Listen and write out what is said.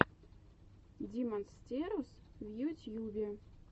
димонстерус в ютьюбе